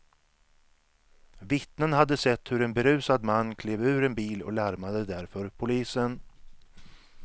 Vittnen hade sett hur en berusad man klev ur en bil och larmade därför polisen.